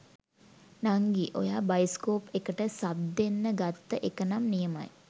නංගි ඔයා බයිසිකොප් එකට සබ් දෙන්න ගත්ත එක නම් නියමයි